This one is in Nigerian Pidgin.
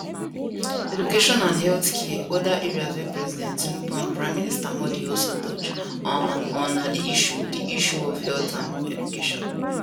education and healthcare oda areas wey president tinubu and prime minister modi also touch um on na di issue di issue of health and education